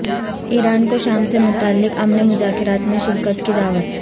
ایران کو شام سے متعلق امن مذاکرات میں شرکت کی دعوت